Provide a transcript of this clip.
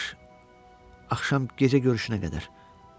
Yaxşı, axşam, gecə görüşünə qədər.